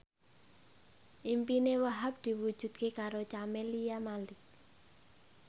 impine Wahhab diwujudke karo Camelia Malik